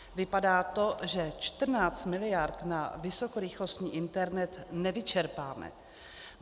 Vypadá to, že 14 miliard na vysokorychlostní internet nevyčerpáme.